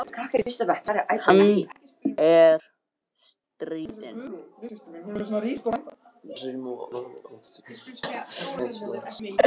Hann er stríðinn.